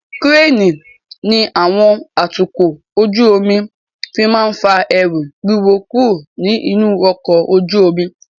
Kíréènì ni àwọn atukọ̀ ojú omi fi máa ń fa ẹrù wíwo kúrò ní inú ọkọ ojú omi.